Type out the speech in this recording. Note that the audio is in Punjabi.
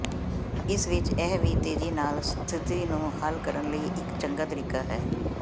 ਇਸ ਵਿਚ ਇਹ ਵੀ ਤੇਜ਼ੀ ਨਾਲ ਸਥਿਤੀ ਨੂੰ ਹੱਲ ਕਰਨ ਲਈ ਇੱਕ ਚੰਗਾ ਤਰੀਕਾ ਹੈ